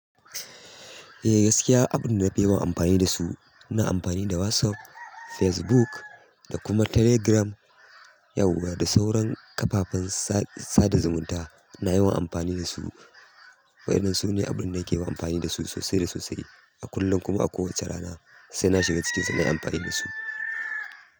E gaskiya abunda nafi yawan amafani dasu ina amfani da WhatsApp, Facebook da kuma Telegram. Yauwa da sauran kafafen sa da zumunta ina yawan amfani da su. Wa'innan su ne abin da nake yawan amfani da su sosai da sosai a kullum kuma a kowace rana sai na shiga cikinsu nai amfani da su.